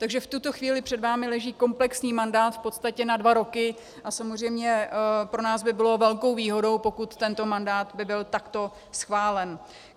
Takže v tuto chvíli před vámi leží komplexní mandát v podstatě na dva roky a samozřejmě pro nás by bylo velkou výhodou, pokud tento mandát by byl takto schválen.